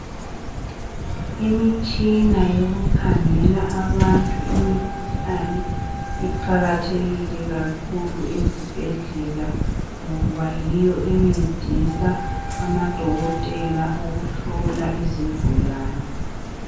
Imitshina yokukhangela abantu imikhuhlane iqakathekile kakhulu ezibhedlela ngoba yiyo encedisa amadokotela ukuhlola izigulane.